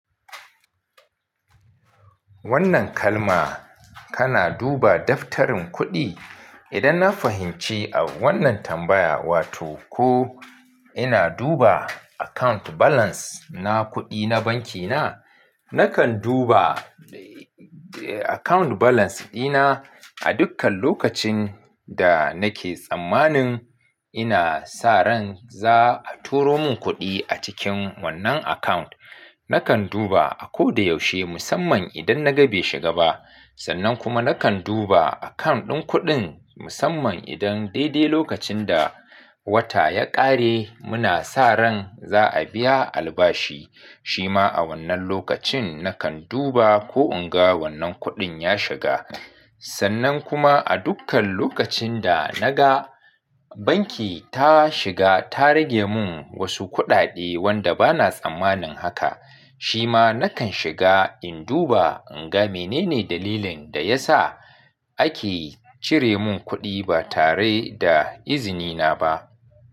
Wannan kalma kana duba daftarin kuɗi? Idan na fahimci a wannan tambaya, wato ko ina duba account balance na kuɗi na banki na, nakan duba account balance dina a dukkan lokacin da nake tsammanin ina sa ran za a turo mun kuɗi a cikin wannan account. Nakan duba a ko da yaushe musamman idan na ga bai shiga ba. Sannan kuma nakan duba account ɗin kuɗin musamman idan daidai lokacin da wata ya ƙare muna sa ran za a biya albashi. Shi ma a wannan lokacin nakan duba ko in ga wannan kuɗin ya shiga. Sannan kuma a dukkan lokacin da na ga banki ta shiga ta rage mun wasu kuɗaɗe wanda bana tsammanin haka. Shi ma nakan shiga in duba in ga menene dalilin da ya sa ake cire mun kuɗi ba tare da izini na ba.